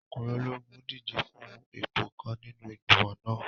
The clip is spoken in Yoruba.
Ọkùnrin ológun n díje fún ipò kan nínú igbimọ̀ náà